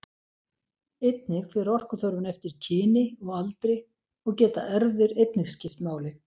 Einnig fer orkuþörfin eftir kyni og aldri og geta erfðir einnig skipt máli.